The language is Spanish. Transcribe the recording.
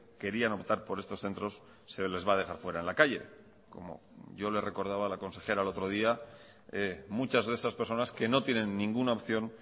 querían optar por estos centros se les va a dejar fuera en la calle como yo le recordaba a la consejera el otro día muchas de esas personas que no tienen ninguna opción